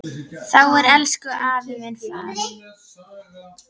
Þá er elsku afi farinn.